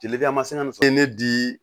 Jeli ma se ka fɔ ye ne di